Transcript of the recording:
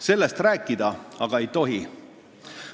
Sellest rääkida aga ei tohi.